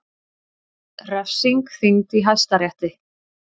Refsing þyngd í Hæstarétti